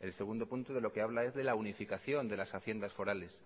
el segundo punto de lo que habla es de la unificación de las haciendas forales